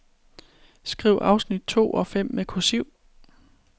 Skriv afsnit to og fem med kursiv.